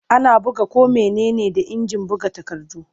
Ana buga ko mene ne da injin buga takardu.